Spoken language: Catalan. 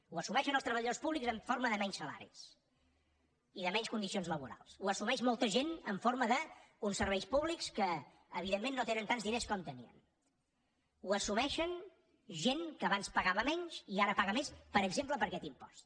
ho assumeixen els treballadors públics en forma de menys salaris i de menys condicions laborals ho assumeix molta gent en forma d’uns serveis públics que evidentment no tenen tants diners com tenien ho assumeix gent que abans pagava menys i ara paga més per exemple per aquest impost